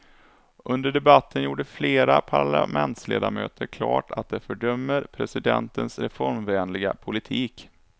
Under debatten gjorde flera parlamentsledamöter klart att de fördömer presidentens reformvänliga politik.